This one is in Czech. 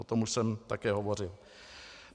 O tom už jsem také hovořil.